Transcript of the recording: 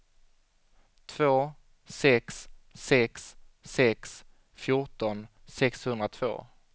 två sex sex sex fjorton sexhundratvå